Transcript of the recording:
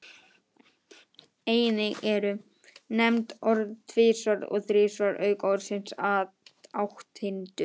Einnig eru nefnd orðin tvisvar og þrisvar auk orðsins átthyrndur.